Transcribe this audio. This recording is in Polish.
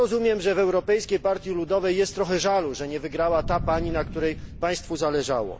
Ja rozumiem, że w Europejskiej Partii Ludowej jest trochę żalu, że nie wygrała ta pani, na której państwu zależało.